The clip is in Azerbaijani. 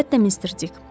Əlbəttə Mr. Dick.